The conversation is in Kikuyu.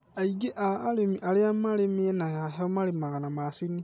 aingĩ a arĩmi aria marĩ mĩena ya heho marĩmanga macini